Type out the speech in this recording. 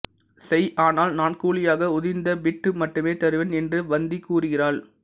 செய் ஆனால் நான் கூலியாக உதிர்ந்த பிட்டு மட்டுமே தருவேன் என்று வந்தி கூறுகிறாள்